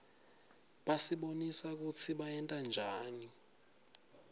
basibonisa kutsi bayentanjani